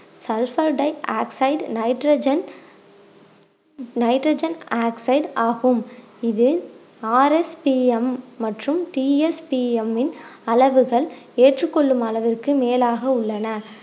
sulphur dioxide nitrogen nitrogen oxide ஆகும் இது RSPM மற்றும் TSPM இன் அளவுகள் ஏற்றுக் கொள்ளும் அளவிற்கு மேலாக உள்ளன